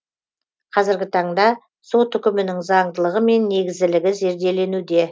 қазіргі таңда сот үкімінің заңдылығы мен негізділігі зерделенуде